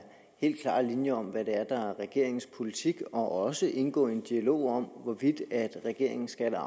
helt klare linjer om hvad der er regeringens politik og også af at indgå i en dialog om hvorvidt regeringens skatte